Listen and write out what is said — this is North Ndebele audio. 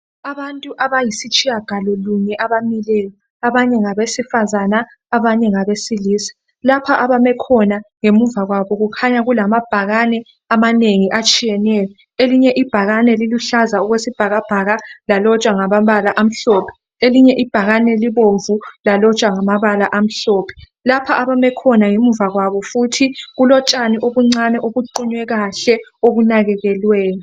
Abantu abayisitshiya galo lunye abamileyo, abanye ngabesifazana abanye ngabesilisa lapha abame khona ngemuva kwabo kukhanya kulamabhakane amanengi atshiyeneyo elinye ibhakane liluhlaza okwesibhakabhaka lalotshwa ngamabala amhlophe, elinye ibhakane libomvu lalotshwa ngamabala amhlophe. Lapha abame khona ngemuva kwabo futhi kulotshani obuncane obuqunywe kahle obunakekelweyo.